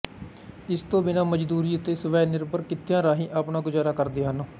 ਇਸ ਤੋਂ ਬਿਨ੍ਹਾਂ ਮਜਦੂਰੀ ਅਤੇ ਸਵੈਨਿਰਭਰ ਕਿੱਤਿਆਂ ਰਾਹੀਂ ਆਪਣਾ ਗੁਜ਼ਾਰਾ ਕਰਦੇ ਹਨ